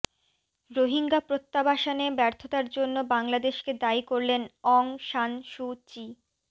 রোহিঙ্গা প্রত্যাবাসনে ব্যর্থতার জন্য বাংলাদেশকে দায়ী করলেন অং সান সু চি